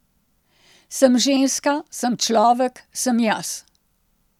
Sem ženska, sem človek, sem jaz ...